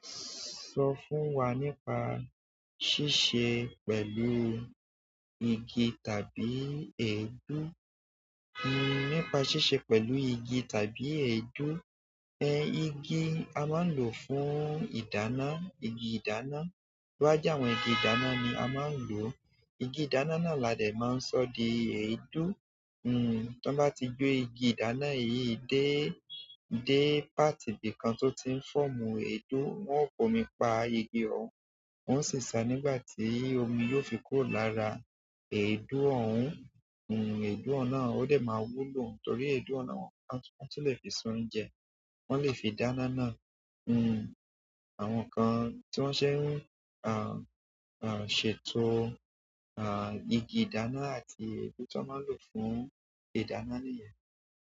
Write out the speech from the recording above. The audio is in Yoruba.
Sọ fún wa nípa ṣíṣe pẹ̀lú igi tàbí èédú. Hmm nípa ṣíṣe pẹ̀lú igi tàbí èédú. Ẹ igi a máa ń lò fún ìdáná, igi ìdáná. Lọ́wọ́ já àwọn igi ìdáná ni a máa ń lò. Igi ìdáná náà ládẹ̀ máa ń sọ di èédú. Hmm tí wọ́n bá ti gbé igi ìdáná yìí dé, dé páàtì bí i kan tó ti ń fọ́mú èédú, wọ́n ó fòmi pa igi ọ̀hún. Wọn sì sá a nígbà tí omí yóò fi kúrò lára èédú ọ̀hún. Hun èédú oun na o de ma wúlò torí edu na won tun le fi se oúnjẹ. Wọn lè fi dáná náà. Hmm àwọn nǹkan tí wọ́n ṣe ń, àh, àh, ṣètò, àh, igi ìdáná àti èédú tí wọ́n máa ń lò fún ìdáná nìyẹn.